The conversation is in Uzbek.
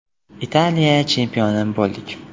Italiya chempioni bo‘ldik!